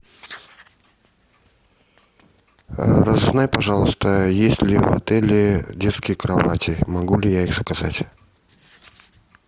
разузнай пожалуйста есть ли в отеле детские кровати могу ли я их заказать